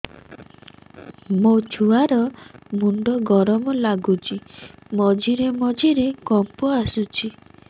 ମୋ ଛୁଆ ର ମୁଣ୍ଡ ଗରମ ଲାଗୁଚି ମଝିରେ ମଝିରେ କମ୍ପ ଆସୁଛି